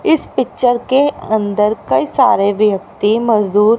इस पिक्चर के अंदर कई सारे व्यक्ति मजदूर--